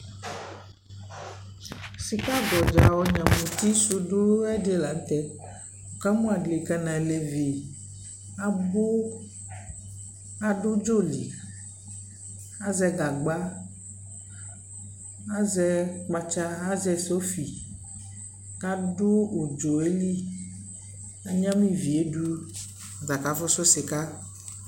Sikagbɔdza ɔnyama su du la nʋ tɛɛ kamʋ adika nʋ alevi abu kʋ adʋ u dzɔ lι Azɛ gagba, azɛ kpatsa, azɛ sofi kʋ adʋ udzɔ yɛ lι